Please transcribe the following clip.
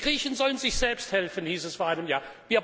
Die Griechen sollen sich selbst helfen, hieß es vor einem Jahr.